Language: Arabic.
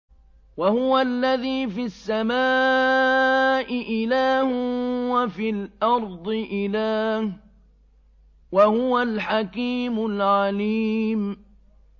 وَهُوَ الَّذِي فِي السَّمَاءِ إِلَٰهٌ وَفِي الْأَرْضِ إِلَٰهٌ ۚ وَهُوَ الْحَكِيمُ الْعَلِيمُ